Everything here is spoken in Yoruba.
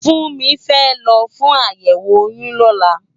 Funmi fè lò fún àyèwó óyùn lòlá